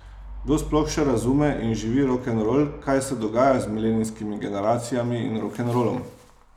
Kdo sploh še razume in živi rokenrol, kaj se dogaja z milenijskimi generacijami in rokenrolom?